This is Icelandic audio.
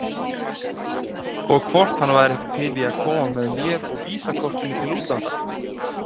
Og hvort hann væri ekki til að koma með mér og VISA-kortinu til útlanda?